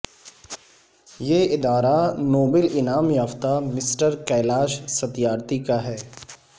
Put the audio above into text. یہ ادارہ نوبل انعام یافتہ مسٹر کیلاش ستیارتھی کا ہے